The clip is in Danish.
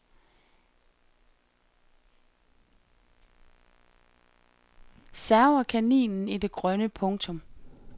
Server kaninen i det grønne. punktum